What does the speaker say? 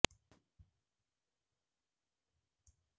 ഉമിനീരിനാൽ നീരാടിയ മുഴുത്ത കുണ്ണകൊണ്ടവൻ അവളുടെ കളിചെപ്പിന്റെ കവാടത്തിൽ മെല്ലെ ഉരച്ചു